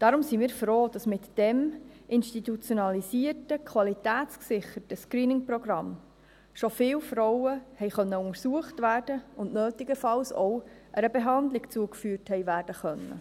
Deshalb sind wir froh, dass mit diesem institutionalisierten, qualitätsgesicherten Screening-Programm schon viele Frauen untersucht und nötigenfalls auch einer Behandlung zugeführt werden konnten.